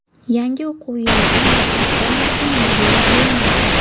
Yangi o‘quv yilidan maktab formasi majburiy bo‘lmaydi.